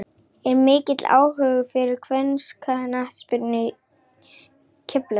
Er mikill áhugi fyrir kvennaknattspyrnu í Keflavík?